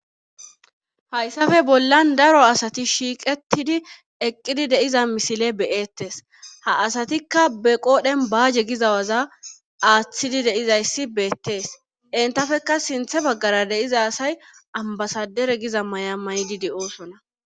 Hayssape bollan daro asati shiiqettidi eqqidi de7iza misile be7eettes ha asatikka be qoodhen baaje giza waza aaththidi de7izayssi beettes entapekka sinththa baggara de7iza asay ambasaderegiza maya mayidi de7oosona.